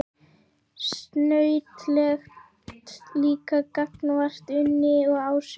Snautlegt líka gagnvart Unni og Ásu.